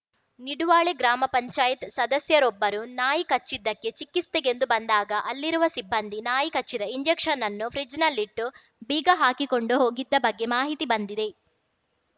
ನಿಡುವಾಳೆ ಗ್ರಾಮ ಪಂಚಾಯತ್ ಸದಸ್ಯರೊಬ್ಬರು ನಾಯಿ ಕಚ್ಚಿದ್ದಕ್ಕೆ ಚಿಕಿತ್ಸೆಗೆಂದು ಬಂದಾಗ ಅಲ್ಲಿರುವ ಸಿಬ್ಬಂದಿ ನಾಯಿ ಕಚ್ಚಿದ ಇಂಜೆಕ್ಷನ್‌ನನ್ನು ಫ್ರಿಜ್ಜಿನಲ್ಲಿಟ್ಟು ಬೀಗ ಹಾಕಿಕೊಂಡು ಹೋಗಿದ್ದ ಬಗ್ಗೆ ಮಾಹಿತಿ ಬಂದಿದೆ